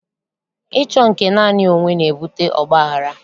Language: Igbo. Ịchọ nke naanị onwe na-ebute ọgbaghara